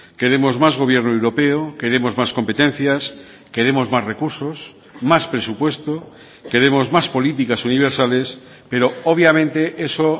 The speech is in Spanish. queremos más gobierno europeo queremos más competencias queremos más recursos más presupuesto queremos más políticas universales pero obviamente eso